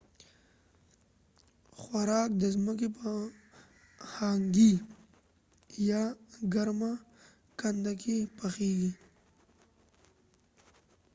د هنګي یا hangi خوراک د ځمکې په ګرمه کنده کې پخیږي